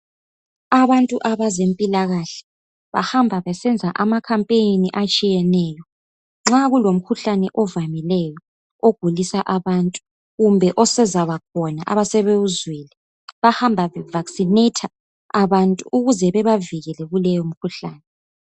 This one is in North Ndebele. Abantu abazempilakahle bahamba besenza ama campaign atshiyeneyo nxa kulomkhuhlane ovamileyo ogulisa bantu kumbe osezabakhona abasebewuzwile bahamba be vaccinate abantu ukuze bebavikele kuleyo mkhuhlane